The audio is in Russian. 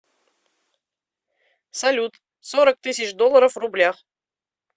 салют сорок тысяч долларов в рублях